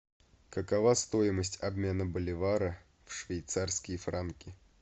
какова стоимость обмена боливара в швейцарские франки